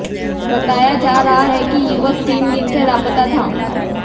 बताया जा रहा है कि युवक तीन दिन से लापता था